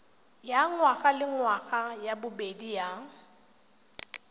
ya ngwagalengwaga ya bobedi ya